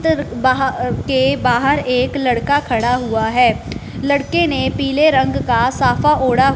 के बाहर एक लड़का खड़ा हुआ है लड़के ने पीले रंग का साफ़ा ओढ़ा--